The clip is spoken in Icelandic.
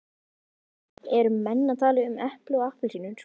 Eru menn að tala um epli og appelsínur?